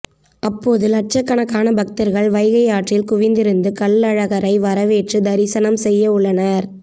அப்போது லட்சக்கணக்கான பக்தர்கள் வைகை ஆற்றில் குவிந்திருந்து கள்ளழகரை வரவேற்று தரிசனம் செய்யவுள்ளன